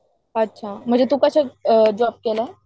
अच्छा म्हणजे तू कष्ट जॉब केला?